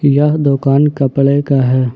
यह दुकान कपड़े का है।